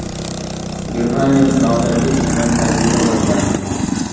Germaniyada noodatiy ijtimoiy tajriba boshlandi.